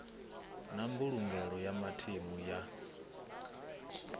na mbulungelo ya mathemu ya